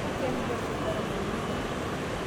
kemirr osigara toolduka